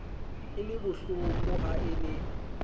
e le bohlokoha e le